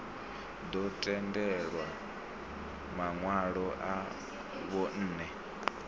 ḓo tendelwa maṋwalo a vhunṋe